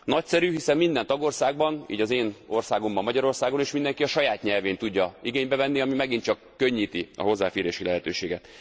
Nagyszerű, hiszen minden tagországban így az én országomban, Magyarországon is mindenki a saját nyelvén tudja igénybe venni, ami megint csak könnyíti a hozzáférési lehetőséget.